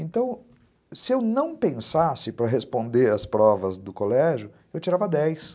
Então, se eu não pensasse para responder as provas do colégio, eu tirava dez.